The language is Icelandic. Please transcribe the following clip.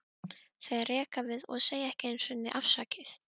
Þeir reka við og segja ekki einu sinni afsakið